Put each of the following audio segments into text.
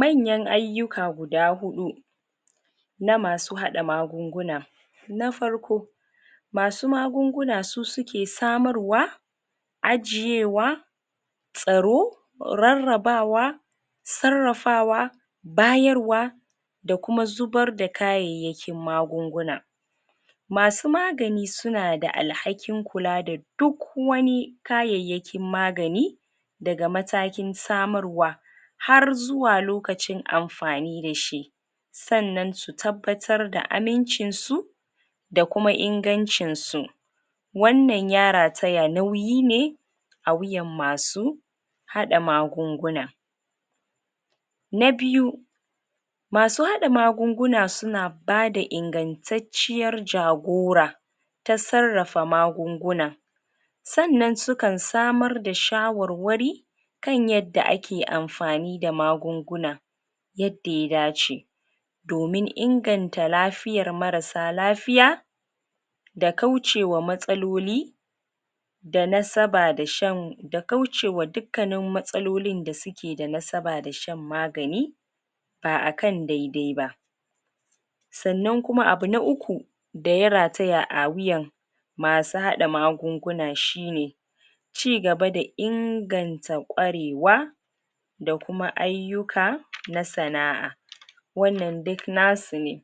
manyan ayyuka guda huɗu na masu haɗa magunguna na farko masu magunguna su suke samarwa ajiyewa tsaro rarrabawa sarrafawa bayarwa da kuma zubarda kayayyakin magunguna masu magani sunada alhakin kula da duk wani kayyakin magani daga matakin samarwa har zuwa lokacin amfani dashi sannan a tabbatar da amincin su da kuma ingancinsu wannan ya rataya nauyi ne a wuyan masu haɗa magunguna na biyu masu haɗa magunguna suna bada ingantacciyar jagora ta sarrafa magunguna sannan sukan samarda shawarwari kan yadda ake amfani da magunguna yadda ya dace domin inganta lafiyar marasa lafiya da kaucewa matsaloli da nasaba da shan da kaucewa dukkanin matsalolin da suke da nasaba da shan magani ba akan daidai ba sannan kuma abu na uku daya rataya a wuyan masu haɗa magunguna shine cigaba dainganta kwarewa da kuma ayyuka na sana'a wannan duk nasu ne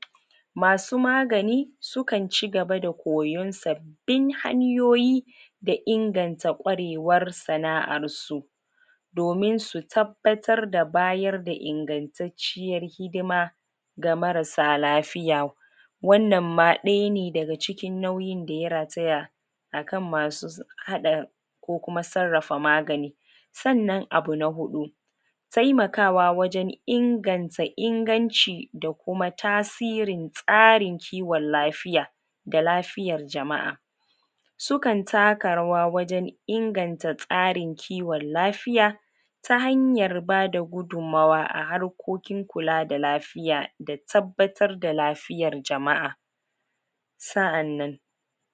masu magani sukan ci gaba da koyon sabbin hanyoyi da inganta kwarewar sana'ar su domin su tabbatarda bayar da ingantacciyar hidima ga marasa lafiya wannan ma ɗaya ne daga cikin nauyin daya rataya akan masu haɗa ko kuma sarrafa maagani sannan abu na huɗu taimakawa wajen inganta inganci da kuma tasirin kiwon lafiya da lafiyar jama'a sukan taka rawa wajen inganta tsarin kiwon lafiya ta hanyar bada gudunmawa a harkokin kula da lafiyada tabbatar da lafiyar jama'a sa'annan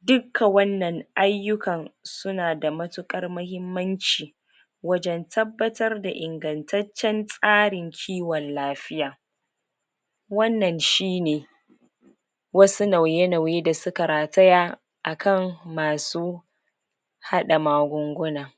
dukka wannan ayyukan sunada matuƙar mahimmanci wajen tabbatarda ingantaccen tsarin kiwon lafiya wannan shine wasu nauye-nauye da suka rataya akan masu haɗa magunguna